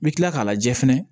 N bɛ tila k'a lajɛ fɛnɛ